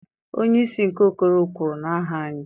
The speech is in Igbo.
Onye isi nke okoro kwuru n'aha anyị.